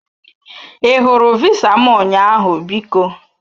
I hụrụ visa m ụnyaahụ biko?